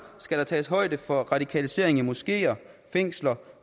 skal der tages højde for radikalisering i moskeer fængsler